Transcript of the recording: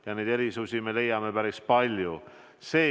Ja neid erisusi me leiame päris palju.